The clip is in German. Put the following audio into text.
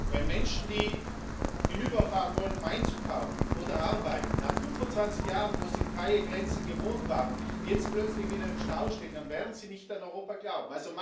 Wenn Menschen, die hinüberfahren wollen, um einzukaufen oder zu arbeiten, nach 25 Jahren, wo sie freie Grenzen gewohnt waren, jetzt plötzlich wieder im Stau stehen, dann werden sie nicht an Europa glauben.